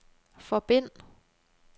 forbind